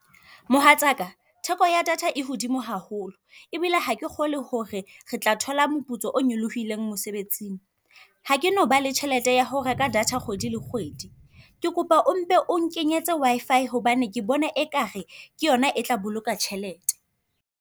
Mohatsa ka, theko ya data e hodimo haholo. Ebile ha ke kgolwe ho re re tla thola moputso o nyolohileng mosebetsing. Ha ke no ba le tjhelete ya ho reka data kgwedi le kgwedi. Ke kopa o mpe o nkenyetse Wi-Fi hobane ke bona ekare ke yona e tla boloka tjhelete.